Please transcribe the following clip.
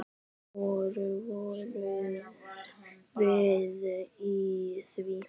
Ekki síður fyrir